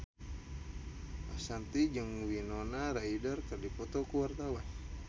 Ashanti jeung Winona Ryder keur dipoto ku wartawan